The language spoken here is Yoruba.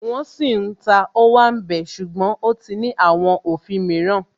Wọ́n sì ń ta Ówàmbẹ̀ ṣùgbọ́n ó ti ní àwọn òfin mìíràn